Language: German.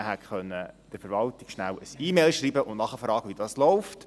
Man hätte der Verwaltung schnell eine E-Mail schreiben und nachfragen können, wie das läuft.